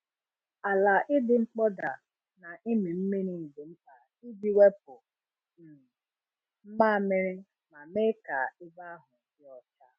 Ala ịdị mkpọda na ịmị mmiri dị mkpa iji wepụ um mmamịrị ma mee ka ebe ahụ dị ọcha.